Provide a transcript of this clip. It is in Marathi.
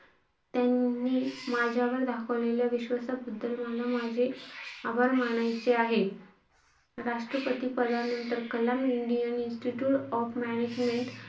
त्यांनी माझ्यावर दाखवलेल्या विश्वासाबद्दल मला माझे आभार मानायचे आहे. राष्ट्रपती पदानंतर Kalam Indian Institute of management,